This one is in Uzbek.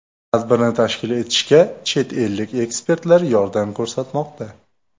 Tadbirni tashkil etishga chet ellik ekspertlar yordam ko‘rsatmoqda.